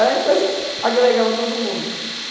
Era a empresa que agregava todo mundo.